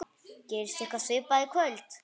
Gerist eitthvað svipað í kvöld?